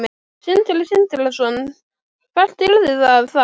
Sindri Sindrason: Hvert yrði það þá?